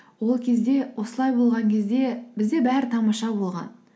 ол кезде осылай болған кезде бізде бәрі тамаша болған